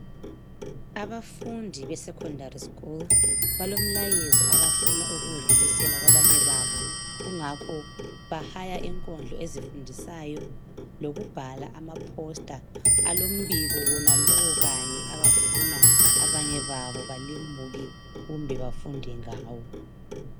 Abafundi be secondary school balomlayezo abafuna ukuwudlulisela kwabanye babo. Kungakho bahaya inkondlo ezifundisayo lokubhala amaposter alombiko wonalowo kanye abafuna abanye babo balimuke kumbe bafunde ngawo .